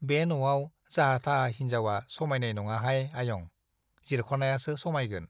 बे न'आव जाहा थाहा हिन्जावा समाइनाय नङाहाय आयं, जिरख'नायासो समाइगोन ।